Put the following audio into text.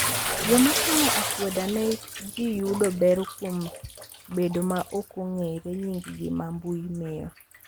Joma timo akweda ne ji yudo ber kuom bedo ma ok ong’ere nying’gi ma mbui miyo.